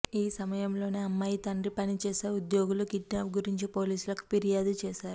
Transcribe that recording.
ఈ సమయంలోనే అమ్మాయి తండ్రి పనిచేసే ఉద్యోగులు కిడ్నాప్ గురించి పోలీసులకు ఫిర్యాదు చేశారు